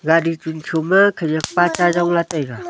gari chum tho ma khanyak pa cha yong la taega.